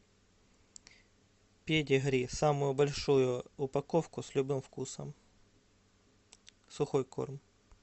педигри самую большую упаковку с любым вкусом сухой корм